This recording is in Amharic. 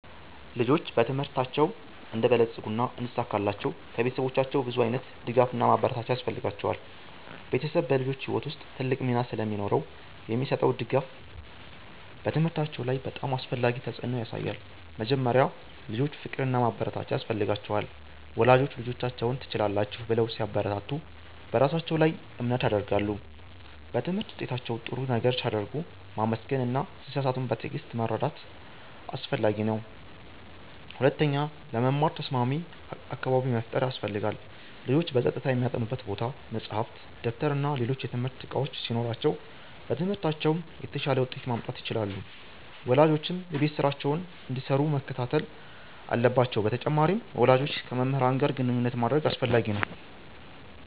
ልጆች በትምህርታቸው እንዲበለጽጉና እንዲሳካላቸው ከቤተሰቦቻቸው ብዙ ዓይነት ድጋፍና ማበረታቻ ያስፈልጋቸዋል። ቤተሰብ በልጆች ሕይወት ውስጥ ትልቅ ሚና ስለሚኖረው የሚሰጠው ድጋፍ በትምህርታቸው ላይ በጣም አስፈላጊ ተፅዕኖ ያሳያል። መጀመሪያ፣ ልጆች ፍቅርና ማበረታቻ ያስፈልጋቸዋል። ወላጆች ልጆቻቸውን “ትችላላችሁ” ብለው ሲያበረታቱ በራሳቸው ላይ እምነት ያድጋሉ። በትምህርት ውጤታቸው ጥሩ ነገር ሲያደርጉ ማመስገን እና ሲሳሳቱም በትዕግሥት መርዳት አስፈላጊ ነው። ሁለተኛ፣ ለመማር ተስማሚ አካባቢ መፍጠር ያስፈልጋል። ልጆች በጸጥታ የሚያጠኑበት ቦታ፣ መጻሕፍት፣ ደብተርና ሌሎች የትምህርት እቃዎች ሲኖሯቸው በትምህርታቸው የተሻለ ውጤት ማምጣት ይችላሉ። ወላጆችም የቤት ስራቸውን እንዲሰሩ መከታተል አለባቸው በተጨማሪም፣ ወላጆች ከመምህራን ጋር ግንኙነት ማድረግ አስፈላጊ ነው።